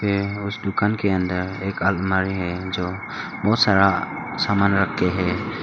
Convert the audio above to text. ये उस दुकान के अंदर एक आलमारी है जो बहोत सारा सामान रख के है।